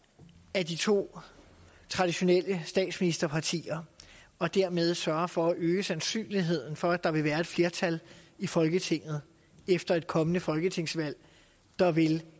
af de to traditionelle statsministerpartier og dermed sørger for at øge sandsynligheden for at der vil være et flertal i folketinget efter et kommende folketingsvalg der vil